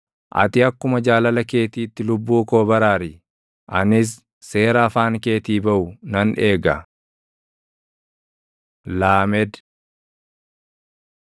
Ati akkuma jaalala keetiitti lubbuu koo baraari; anis seera afaan keetii baʼu nan eega. ל Laamed